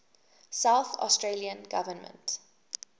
south australian government